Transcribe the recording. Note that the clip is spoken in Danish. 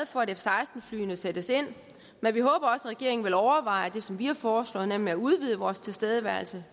for at f seksten flyene sættes ind men vi håber også at regeringen vil overveje det som vi har foreslået nemlig at udvide vores tilstedeværelse